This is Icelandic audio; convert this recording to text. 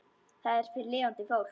Það er fyrir lifandi fólk.